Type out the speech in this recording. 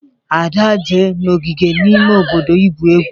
ada je n'ogige ime obodo igwu egwu